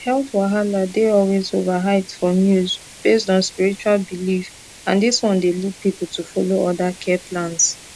health wahala dey always overhyped for news based on spiritual belief and this one dey lead people to follow other care plans